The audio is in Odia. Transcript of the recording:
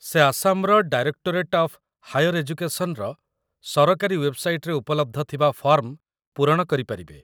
ସେ ଆସାମର 'ଡାଇରେକ୍ଟୋରେଟ୍ ଅଫ୍ ହାଇଅର୍ ଏଜୁକେସନ୍'ର ସରକାରୀ ୱେବ୍‌ସାଇଟ୍‌ରେ ଉପଲବ୍ଧ ଥିବା ଫର୍ମ ପୂରଣ କରିପାରିବେ